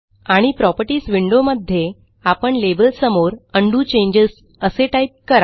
आणि properties window मध्ये आपण लेबलसमोर उंडो चेंजेस असे टाईप करा